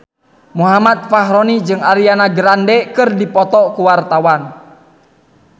Muhammad Fachroni jeung Ariana Grande keur dipoto ku wartawan